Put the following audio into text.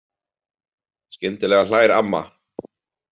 Skyndilega hlær amma.